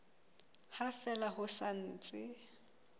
ha fela ho sa ntse